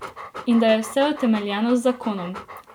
In da je vse utemeljeno z zakonom.